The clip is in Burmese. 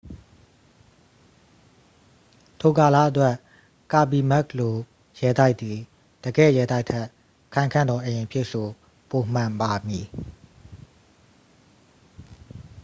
ထိုကာလအတွက် ကာဘီမက်ခ်လို ရဲတိုက်သည် တကယ့် ရဲတိုက်ထက် ခိုင်ခံ့သောအိမ်အဖြစ် ဆို ပိုမှန်ပါမည်